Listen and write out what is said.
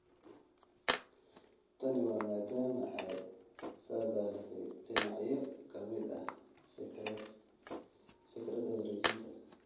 Tani waa maadaama ay saadaalisay dhinacyo ka mid ah fikradda wareejinta.